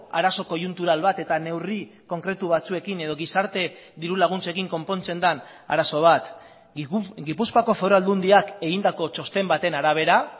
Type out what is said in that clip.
arazo koiuntural bat eta neurri konkretu batzuekin edo gizarte dirulaguntzekin konpontzen den arazo bat gipuzkoako foru aldundiak egindako txosten baten arabera